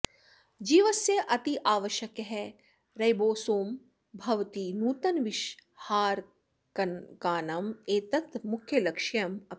जीवस्य अत्यावश्यकः रैबोसोम् भवती नूतनविषहारकानम् एतत् मुख्यलक्ष्यम् अपि